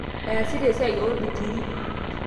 Easata esiai obetiri